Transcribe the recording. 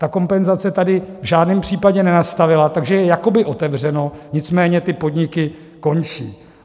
Ta kompenzace tady v žádném případě nenastala, takže je jakoby otevřeno, nicméně ty podniky končí.